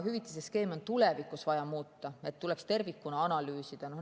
Hüvitiste skeeme on ka tulevikus vaja muuta, neid tuleks tervikuna analüüsida.